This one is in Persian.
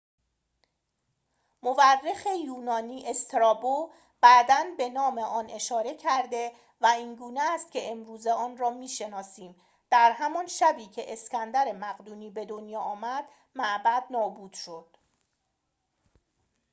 مورخ یونانی استرابو بعداً به نام آن اشاره کرده و اینگونه است که امروزه آن را می‌شناسیم در همان شبی که اسکندر مقدونی به دنیا آمد معبد نابود شد